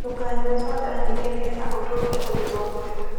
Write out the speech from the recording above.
Ndũkanyũe soda nyĩngĩ nĩgetha ũtũrĩe ũgima mwega